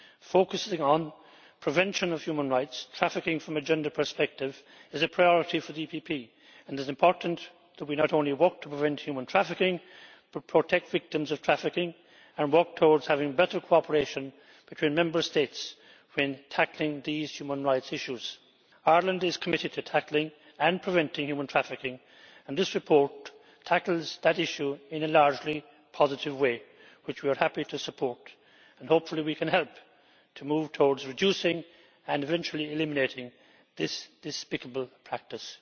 Focusing on protection of human rights, trafficking from a gender perspective is a priority for the EPP and it is important that we not only work to prevent human trafficking, but protect victims of trafficking and work towards having better cooperation between Member States when tackling these human rights issues. Ireland is committed to tackling and preventing human trafficking and this report tackles that issue in a largely positive way which we are happy to support and hopefully we can help to move towards reducing and eventually eliminating this despicable practice.